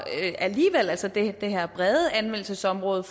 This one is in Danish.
altså for det her brede anvendelsesområde